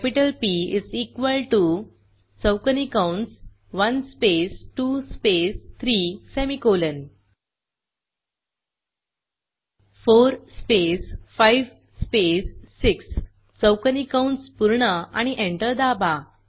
capital P is equal to चौकोनी कंस 1 space 2 space 3 semicolon 4 space 5 space 6 चौकोनी कंस पूर्ण आणि एंटर दाबा